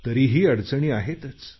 तरीही अडचणी आहेतच